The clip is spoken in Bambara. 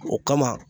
O kama